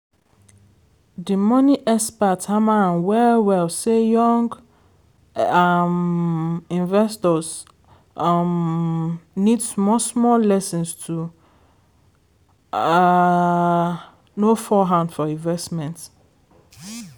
di money expert hammer am well-well say young um investors um need small-small lessons to um no fall hand for investment.